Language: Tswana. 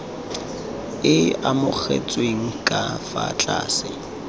e amogetsweng ka fa tlase